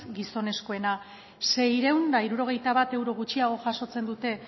gizonezkoena seiehun eta hirurogeita bat euro gutxiago jasotzen dute